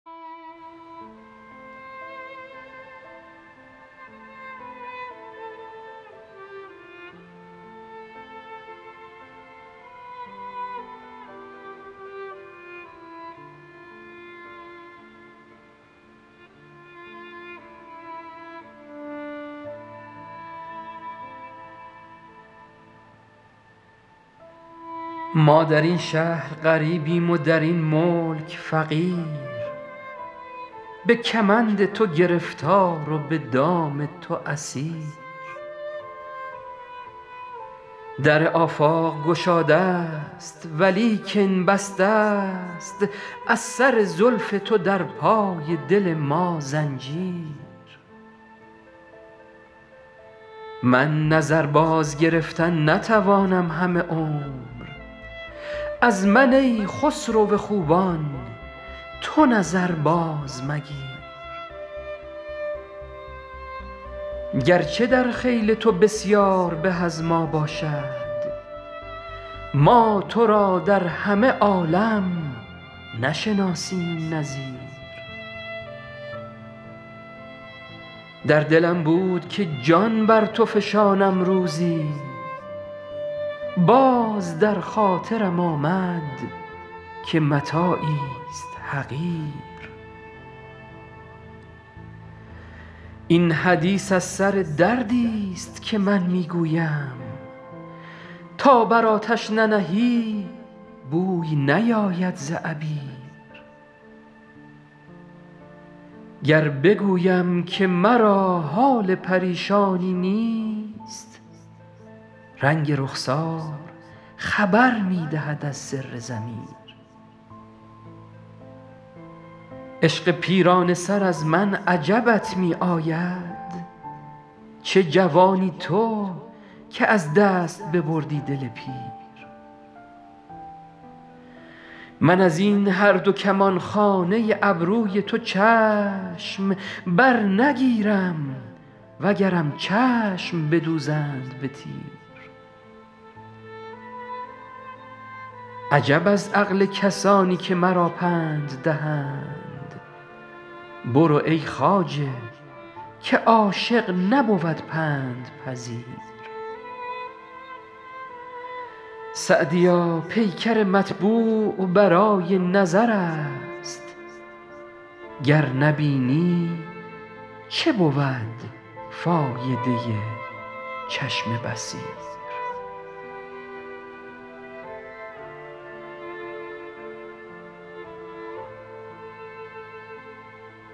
ما در این شهر غریبیم و در این ملک فقیر به کمند تو گرفتار و به دام تو اسیر در آفاق گشاده ست ولیکن بسته ست از سر زلف تو در پای دل ما زنجیر من نظر بازگرفتن نتوانم همه عمر از من ای خسرو خوبان تو نظر بازمگیر گرچه در خیل تو بسیار به از ما باشد ما تو را در همه عالم نشناسیم نظیر در دلم بود که جان بر تو فشانم روزی باز در خاطرم آمد که متاعیست حقیر این حدیث از سر دردیست که من می گویم تا بر آتش ننهی بوی نیاید ز عبیر گر بگویم که مرا حال پریشانی نیست رنگ رخسار خبر می دهد از سر ضمیر عشق پیرانه سر از من عجبت می آید چه جوانی تو که از دست ببردی دل پیر من از این هر دو کمانخانه ابروی تو چشم برنگیرم وگرم چشم بدوزند به تیر عجب از عقل کسانی که مرا پند دهند برو ای خواجه که عاشق نبود پندپذیر سعدیا پیکر مطبوع برای نظر است گر نبینی چه بود فایده چشم بصیر